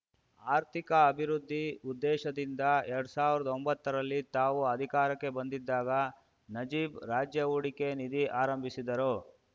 ಆರ್ಥಿಕ ಅಭಿವೃದ್ಧಿ ಉದ್ದೇಶದಿಂದ ಎರಡ್ ಸಾವಿರ್ದಾ ಒಂಬತ್ತರಲ್ಲಿ ತಾವು ಅಧಿಕಾರಕ್ಕೆ ಬಂದಿದ್ದಾಗ ನಜೀಬ್‌ ರಾಜ್ಯ ಹೂಡಿಕೆ ನಿಧಿ ಆರಂಭಿಸಿದ್ದರು